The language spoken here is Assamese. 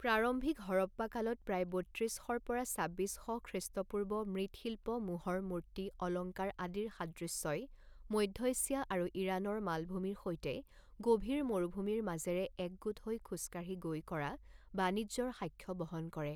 প্ৰাৰম্ভিক হৰপ্পা কালত প্ৰায় বত্ৰিছ শ পৰা ছাব্বিছ শ খ্ৰীষ্টপূৰ্ব মৃৎশিল্প মোহৰ মূৰ্তি অলংকাৰ আদিৰ সাদৃশ্যই মধ্য এছিয়া আৰু ইৰাণৰ মালভূমিৰ সৈতে গভীৰ মৰুভূমিৰ মাজেৰে একগোট হৈ খোজকাঢ়ি গৈ কৰা বাণিজ্যৰ সাক্ষ্য বহন কৰে।